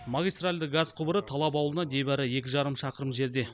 магистральды газ құбыры талап ауылынан небәрі екі жарым шақырым жерде